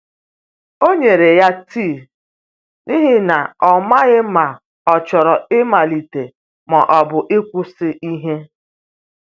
O nyere ya tii, n’ihi na ọ maghị ma ọ chọrọ ịmalite ma ọ bụ kwụsị ihe.